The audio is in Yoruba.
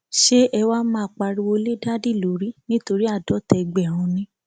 ṣé ẹ wáá máa pariwo lé dádì lórí nítorí àádọta ẹgbẹrún ni